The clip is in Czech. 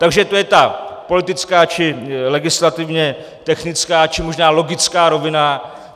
Takže to je ta politická či legislativně technická, či možná logická rovina.